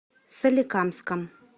соликамском